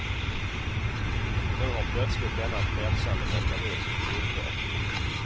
Nu har plötsligt denna frälsande mekanism upphört.